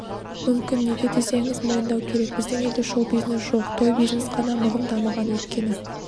мүмкін неге десеңіз мойындау керек біздің елде шоу-бизнес жоқ той-бизнес қана мығым дамыған өйткені